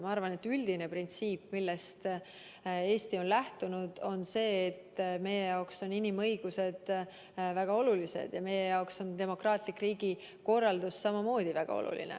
Ma arvan, et üldine printsiip, millest Eesti on lähtunud, on see, et meie jaoks on inimõigused väga olulised ja samamoodi on meie jaoks demokraatlik riigikorraldus väga oluline.